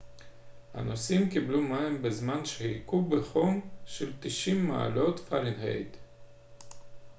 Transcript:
הנוסעים קיבלו מים בזמן שחיכו בחום של 90 מעלות פרנהייט